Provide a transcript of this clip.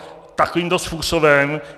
Takovýmto způsobem...